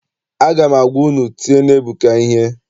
Aga m agwa unu, tienụ Ebuka ihe!